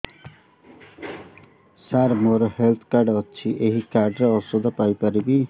ସାର ମୋର health card ଅଛି ଏହି କାର୍ଡ ରେ ଔଷଧ ପାଇପାରିବି